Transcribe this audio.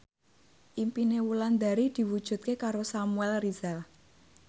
impine Wulandari diwujudke karo Samuel Rizal